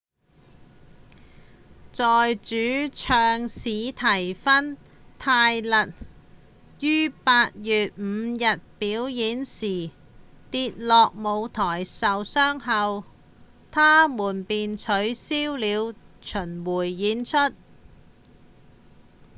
在主唱史蒂芬·泰勒於8月5日表演時跌落舞台受傷後他們便取消了巡迴演出